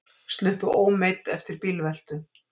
Sluppu ómeidd eftir bílveltu